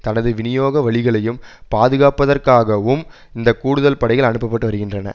தனது விநியோக வழிகளையும் பாதுகாப்பதற்காகவும் இந்த கூடுதல் படைகள் அனுப்ப பட்டு வருகின்றன